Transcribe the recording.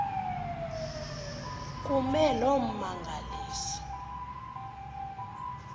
kume loo mmangaliso